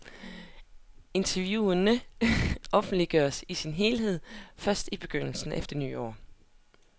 Interviewene offentliggøres i sin helhed først i begyndelsen af det nye år.